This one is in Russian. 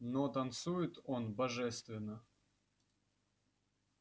но танцует он божественно